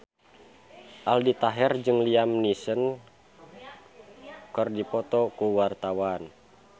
Aldi Taher jeung Liam Neeson keur dipoto ku wartawan